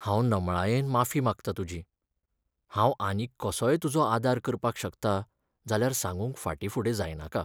हांव नमळायेन माफी मागता तुजी! हांव आनीक कसोय तुजो आदार करपाक शकता जाल्यार सांगूक फाटीं फुडें जायनाका.